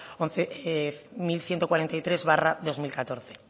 mil ciento cuarenta y tres barra dos mil catorce